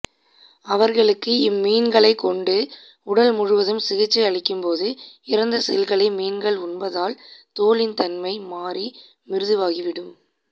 அவர்களுக்கு இம்மீன்களைக் கொண்டு உடல் முழுவதும் சிகிச்சை அளிக்கும்போது இறந்த செல்களை மீன்கள் உண்பதால் தோலின் தன்மை மாறி மிருதுவாகிவிடும்